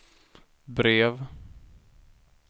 brev